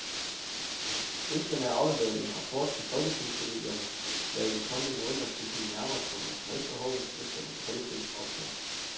Ønskerne er afleveret i en rapport til folketingspolitikerne, der i de kommende måneder skal kigge nærmere på materielbehovet efter den kolde krigs ophør.